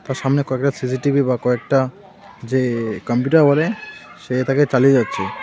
সামনে কয়েকটা CC TV বা কয়েকটা যে কম্পিটার বলে সে তাকে চালিয়ে যাচ্চে।